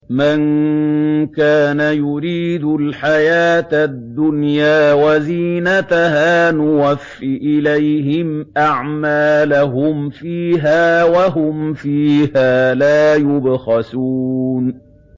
مَن كَانَ يُرِيدُ الْحَيَاةَ الدُّنْيَا وَزِينَتَهَا نُوَفِّ إِلَيْهِمْ أَعْمَالَهُمْ فِيهَا وَهُمْ فِيهَا لَا يُبْخَسُونَ